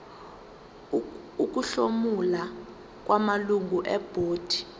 ukuhlomula kwamalungu ebhodi